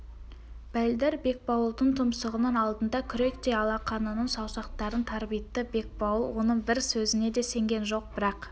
бәлдір бекбауылдың тұмсығының алдында күректей алақанының саусақтарын тарбитты бекбауыл оның бір сөзіне де сенген жоқ бірақ